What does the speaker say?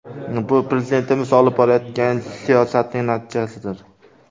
Bu Prezidentimiz olib borayotgan siyosatning natijasidir.